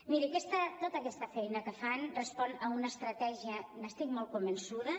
miri tota aquesta feina que fan respon a una estratègia n’estic molt convençuda